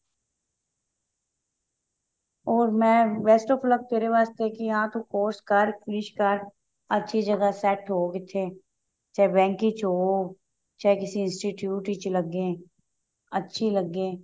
or ਮੈਂ best of luck ਤੇਰੇ ਵਾਸਤੇ ਕੀ ਹਾਂ ਤੂੰ course ਕਰ finish ਕਰ ਅੱਛੀ ਜਗ੍ਹਾ set ਹੋ ਕਿਤੇ ਚਾਹੇ bank ਵਿੱਚ ਹੋ ਚਾਹੇ ਕਿਸੀ institute ਵਿੱਚ ਲੱਗੇ ਅੱਛੀ ਲੱਗੇ